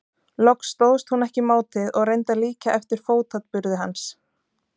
Loks stóðst hún ekki mátið og reyndi að líkja eftir fótaburði hans.